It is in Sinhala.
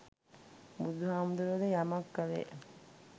බුදුහාමුදුරුවෝ ද යමක් කළේ